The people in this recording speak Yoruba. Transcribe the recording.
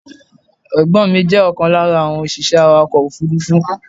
Ẹ̀gbọ́n mi jẹ́ ọ̀kan lára àwọn òṣìṣẹ́ awàkọ̀ òfúrúfú.